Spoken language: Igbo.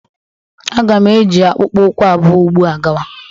Aga m eji akpụkpọ ụkwụ abụọ ugbu a gawa